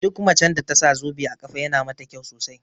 Duk macen da tasa zobe a ƙafa yana mata kyau sosai